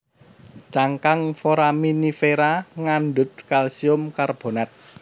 Cangkang foraminifera ngandhut kalsium karbonat